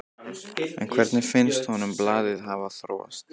En hvernig finnst honum blaðið hafa þróast?